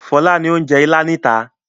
Fọlá ni ó ń jẹ Ìlá níta.